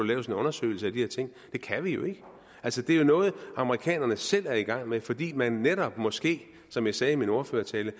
laves en undersøgelse af de her ting det kan vi jo ikke altså det er jo noget amerikanerne selv er i gang med fordi man måske som jeg sagde i min ordførertale